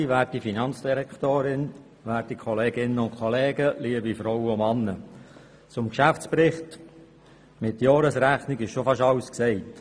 Zum Geschäftsbericht mit Jahresrechnung wurde schon fast alles gesagt.